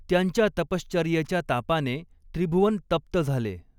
त्यांच्या तपश्चर्येच्या तापाने त्रिभुवन तप्त झाले.